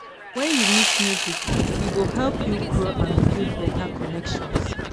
When you meet new people, e go help you grow and build better connections.